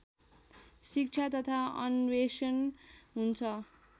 शिक्षा तथा अन्वेषण हुन्छ